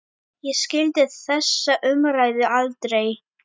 Ég skildi þessa umræðu aldrei.